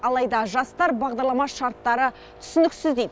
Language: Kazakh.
алайда жастар бағдарлама шарттары түсініксіз дейді